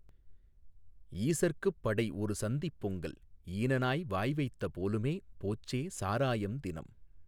ஈசற்குப் படைஒரு சந்திப் பொங்கல் ஈனநாய் வாய்வைத்த போலுமே போச்சே சாராயம் தினம்